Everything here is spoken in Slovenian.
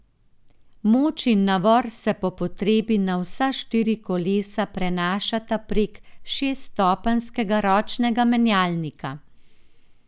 Moč in navor se po potrebi na vsa štiri kolesa prenašata prek šeststopenjskega ročnega menjalnika.